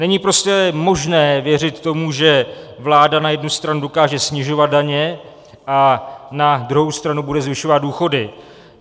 Není prostě možné věřit tomu, že vláda na jednu stranu dokáže snižovat daně a na druhou stranu bude zvyšovat důchody.